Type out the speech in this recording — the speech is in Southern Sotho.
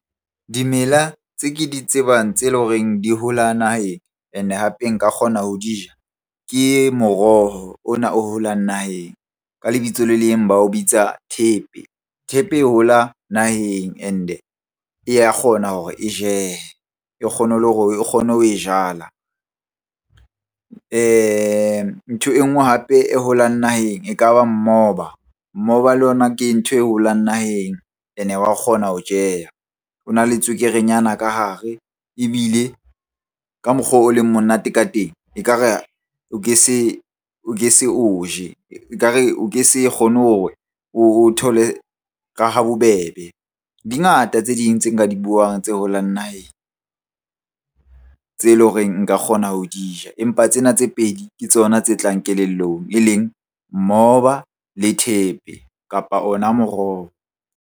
Dimela tse ke di tsebang tse leng horeng di hola naheng and hape nka kgona ho di ja ke moroho ona o holang naheng. Ka lebitso le leng ba o bitsa thepe. Thepe hola naheng and-e e ya kgona hore e jehe, e kgone le hore o kgone ho e jala. Ntho e nngwe hape e holang naheng e ka ba mmoba, mmoba le yona ke ntho e holang naheng and-e wa kgona ho jeha. O na le tswekere nyana ka hare ebile ka mokgo o leng monate ka teng ekare o ke se o je, ekare o ke se kgone hore o thole ka ha bobebe. Di ngata tse ding tse nka di buang tse holang naheng tse leng hore nka kgona ho di ja. Empa tsena tse pedi ke tsona tse tlang kelellong, e leng mmoba le thepe, kapa ona moroho.